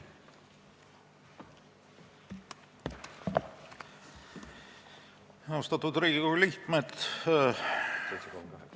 Austatud Riigikogu liikmed!